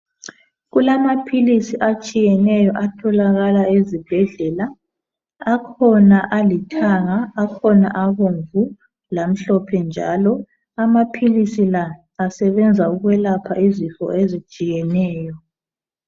Kulamaphilisi atshiyeneyo atholakala ezibhedlela, akhona alithanga, akhona abomvu lamhlophe njalo. Amaphilisi la asebenza ukwelapha izifo ezitshiyeneyo